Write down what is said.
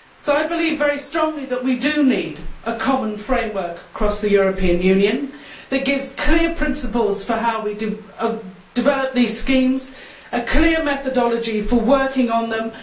I believe very strongly that we need a common framework across the European Union that gives clear principles for how we develop these schemes and a clear methodology for working on them.